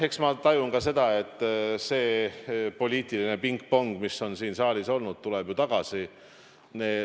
Eks ma tajun ka seda, et see poliitiline pingpong, mis on siin saalis olnud, tuleb ju tagasi.